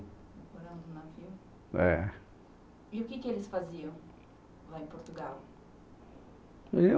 É. E o que que eles faziam lá em Portugal?